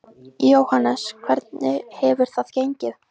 Jóhannes: Hvernig hefur það gengið?